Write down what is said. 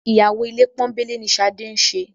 Ìyàwó ilé pọ́nńbélé ni Ṣadé ń ṣe